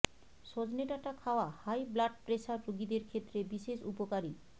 সজনে ডাঁটা খাওয়া হাই ব্লাড প্রেশার রোগীদের ক্ষেত্রে বিশেষ উপকারী